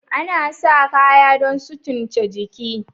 Anasa kayan don sutunce jiki